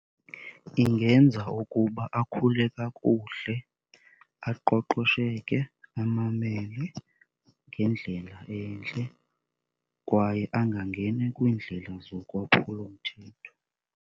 Ingenza ukuba akhule kakuhle, aqoqosheke, amamele ngendlela entle kwaye angangeni kwiindlela zokwaphulomthetho.